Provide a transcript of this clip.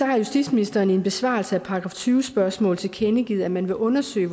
har justitsministeren i en besvarelse af et § tyve spørgsmål tilkendegivet at man vil undersøge